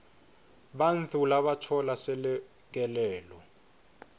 bantfu labatfola selekelelo